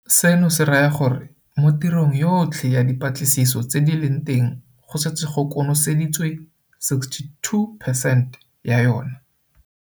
Seno se raya gore mo tirong yotlhe ya dipatlisiso tse di leng teng go setse go konoseditswe 62 percent ya yona.